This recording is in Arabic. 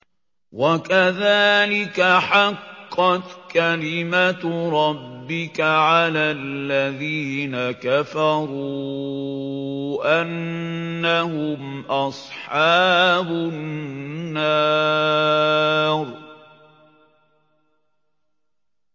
وَكَذَٰلِكَ حَقَّتْ كَلِمَتُ رَبِّكَ عَلَى الَّذِينَ كَفَرُوا أَنَّهُمْ أَصْحَابُ النَّارِ